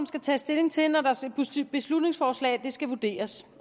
skal tages stilling til når et beslutningsforslag skal vurderes